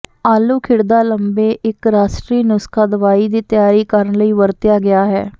ਆਲੂ ਖਿੜਦਾ ਲੰਬੇ ਇੱਕ ਰਾਸ਼ਟਰੀ ਨੁਸਖ਼ਾ ਦਵਾਈ ਦੀ ਤਿਆਰੀ ਕਰਨ ਲਈ ਵਰਤਿਆ ਗਿਆ ਹੈ